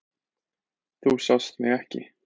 Þú sást mig ekki.